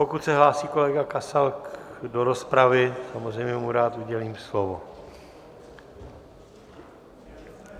Pokud se hlásí kolega Kasal do rozpravy, samozřejmě mu rád udělím slovo.